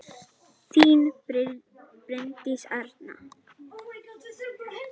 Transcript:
Þín Bryndís Arna.